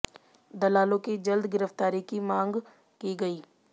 दलालों की जल्द गिरफ्तारी की भी मांग की गई